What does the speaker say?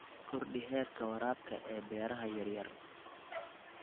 Kordhi heerka waraabka ee beeraha yar yar.